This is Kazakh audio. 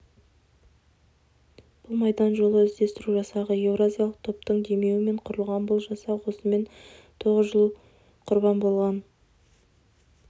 бұл майдан жолы іздестіру жасағы еуразиялық топтың демеуімен құрылған бұл жасақ осымен тоғыз жыл құрбан болған